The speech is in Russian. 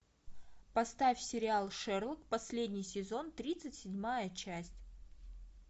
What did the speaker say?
поставь сериал шерлок последний сезон тридцать седьмая часть